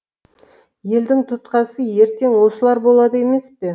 елдің тұтқасы ертең осылар болады емес пе